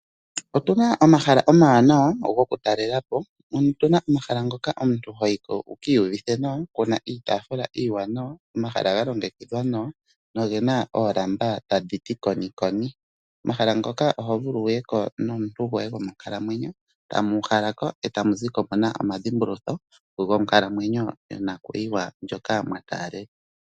Otuna omahala omawanawa gokutalela po. Otuna omahala ngoka omuntu ho yi ko wu ka iyuvithe nawa kuna iitafula iiwanawa, omahala ga longekidhwa nawa, no gena oolamba ta dhi ti konikoni. Omahala ngoka oho vulu wu ye ko nomuntu goye gomonkalamwenyo. Tamu uhala ko e tamu zi ko muna omadhimbulutho gonkalamwenyo yo nakuyiwa ndjoka mwa taalela.